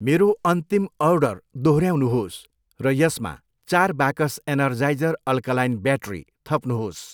मेरो अन्तिम अर्डर दोहोऱ्याउनुहोस् र यसमा चार बाकस एनर्जाइजर अल्कालाइन ब्याट्री थप्नुहोस्।